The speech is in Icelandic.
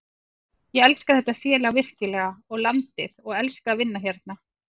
Ég elska þetta félag virkilega og landið og elska að vinna hérna.